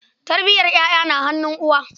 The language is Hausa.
Tarbiyar ƴaƴa na hannun uwa.